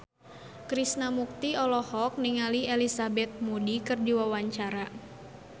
Krishna Mukti olohok ningali Elizabeth Moody keur diwawancara